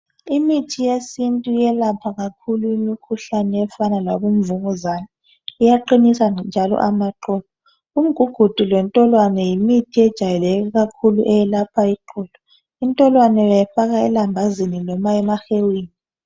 Imithi yesintu iyelapha kakhulu imikhuhlane efana labomvukuzane, iyaqinisa njalo iqolo. Umgugudu lentolwane yimithi ejwayeleke kakhulu eyelapha iqolo. Intolwane yona uyayifaka elambazini kumbe emahewini.